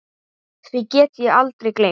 Því get ég aldrei gleymt.